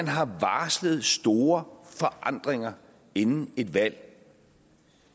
har varslet store forandringer inden et valg